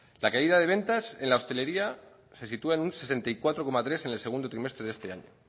la caída de ventas en la hostelería se sitúa en un sesenta y cuatro coma tres en el segundo trimestre de este año